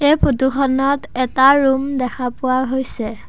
এই ফটো খনত এটা ৰুম দেখা পোৱা হৈছে।